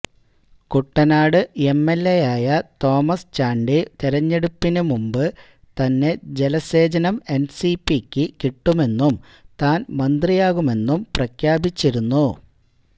കുട്ടനാട് എംഎൽഎയായ തോമസ് ചാണ്ട് തെരഞ്ഞെടുപ്പിന് മുമ്പ് തന്നെ ജലസേചനം എൻസിപിക്ക് കിട്ടുമെന്നും താൻ മന്ത്രിയാകുമെന്നും പ്രഖ്യാപിച്ചിരുന്നു